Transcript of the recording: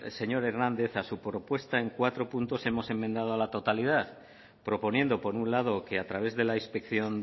señor hernández a su propuesta en cuatro puntos hemos enmendado a la totalidad proponiendo por un lado que a través de la inspección